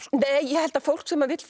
nei ég held að fólk sem vill